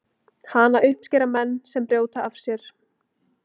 Hana uppskera menn sem brjóta af sér.